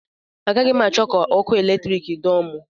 Agaghị m achọ ka ọkụ eletrik dọọ m